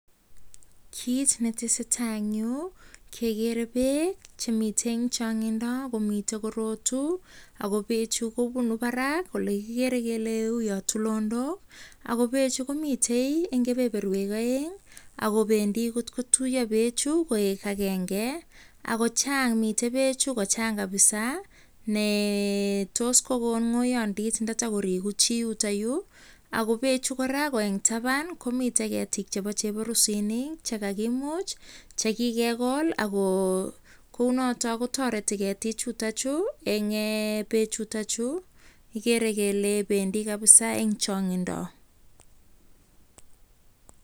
Kit ne tesetai en yu kekere beek che miten en chong'indo komiten korotu ago beechu kobunu barak ole kigeere kel u tulonok. Ago beechu komiten en kebeberwek aeng ago bendi kotkotuiyo beechu koek agenge ago chang miten beechu kochang kabisa ne tos kogon ng'oyondit ndotokorigu chi yuto yu. Ago beechu kora ko en taban komiten ketik chebo cheborusinik che kagimuch che kigegol. Ak kounoto kotoreti ketichuto chu en beechuto chu kigeere kele bendi kabisa en chong'indo